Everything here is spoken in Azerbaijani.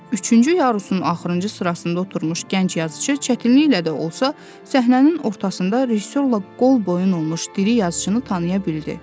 Üçüncü yarusun axırıncı sırasında oturmuş gənc yazıçı çətinliklə də olsa səhnənin ortasında rejissorla qolboyun olmuş diri yazıçını tanıya bildi.